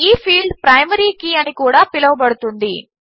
ఈ field primary key అని కూడా పిలువబడుతుంది